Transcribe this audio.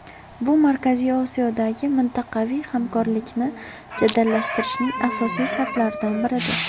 Bu Markaziy Osiyodagi mintaqaviy hamkorlikni jadallashtirishning asosiy shartlaridan biridir.